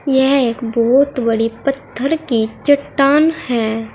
यह एक बहुत बड़ी पत्थर की चट्टान है।